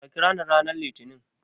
Ka kirani ranar Litinin.